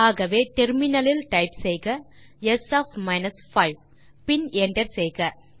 ஆகவே இன் terminal type செய்க ஸ் ஒஃப் 5 பின் என்டர் செய்க